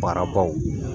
Baara baw